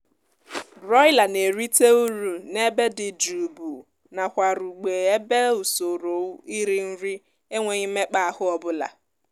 broiler na-erite uru n'ebe dị jụụbu nakwarugb ebe usorou iri nri enweghi mmekpaahụ ọbụla